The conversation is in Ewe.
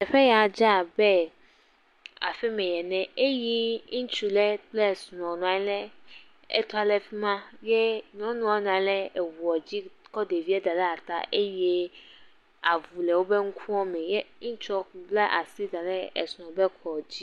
Teƒe ya dze abe aƒeme ene eye ŋutsu ɖe kple srɔ̃ nɔ anyi le …le fi ma, ye nyɔnua nɔ anyi le eŋuɔ dzi…